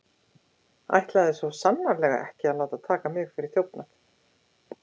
Ætlaði svo sannarlega ekki að láta taka mig fyrir þjófnað.